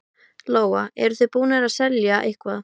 Lóa: Eruð þið búnir að selja eitthvað?